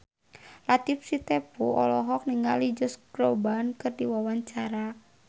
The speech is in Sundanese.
Latief Sitepu olohok ningali Josh Groban keur diwawancara